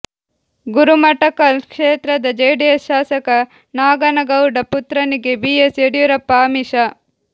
ಗುರುಮಠಕಲ್ ಕ್ಷೇತ್ರದ ಜೆಡಿಎಸ್ ಶಾಸಕ ನಾಗನಗೌಡ ಪುತ್ರನಿಗೆ ಬಿ ಎಸ್ ಯಡಿಯೂರಪ್ಪ ಆಮಿಷ